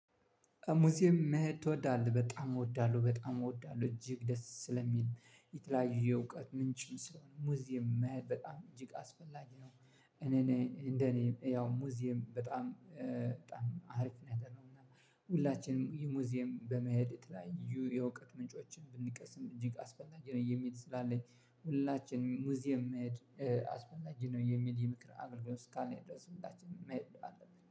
ሙዚየም መሄድ ትወዳለህ? በጣም እወዳለሁ በጣም እወዳለሁ እጅግ ደስ ስለሚል የተለያዩ እውቀት ምንጭም ስለሆነ ሙዚየም መሄድ በጣም እጅግ አስፈላጊ ነው። እኔ እንደኔ ያው ሙዚየም በጣም በጣም አሪፍ ነገር ነው። እና ሁላችንም ሙዚየም በመሄድ የተለያዩ የእውቀት ምንጮችን ብንቀስም እጅግ አስፈላጊ ነው የሚል ስላለኝ። ሁላችንም ሙዚየም መሄድ አስፈላጊ ነው የሚል የምክር አገልግሎት ስካለኝ ድርስ ሁላችንም መሄድ አለብን።